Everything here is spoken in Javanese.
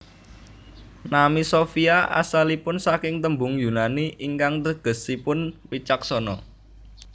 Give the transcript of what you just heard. Nami Sofia asalipun saking tembung Yunani ingkang tegesipun wicaksana